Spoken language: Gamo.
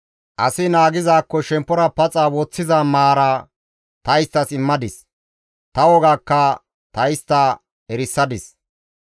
Asi naagizaakko shemppora paxa woththiza maara ta isttas immadis; ta wogaakka ta istta erisadis.